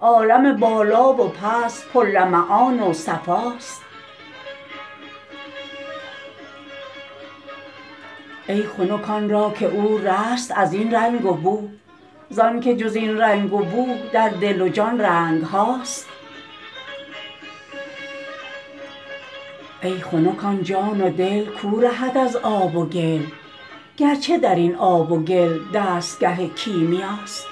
عالم بالا و پست پرلمعان و صفاست ای خنک آن را که او رست از این رنگ و بو زانک جز این رنگ و بو در دل و جان رنگ هاست ای خنک آن جان و دل کو رهد از آب و گل گرچه در این آب و گل دستگه کیمیاست